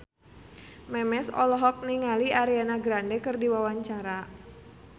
Memes olohok ningali Ariana Grande keur diwawancara